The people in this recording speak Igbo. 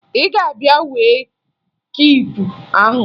Ị ga-abịa wee kiipu ahụ?